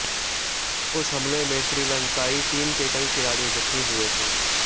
उस हमले में श्रीलंकाई टीम के कई खिलाड़ी जख्मी हुए थे